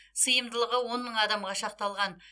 сыйымдылығы он мың адамға шақталған